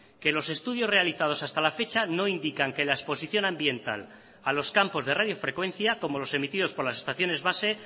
que los estudios realizados hasta la fecha no indican que la exposición ambiental a los campos de radiofrecuencia como los emitidos por las estaciones base